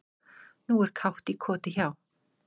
Nú er kátt í koti hjá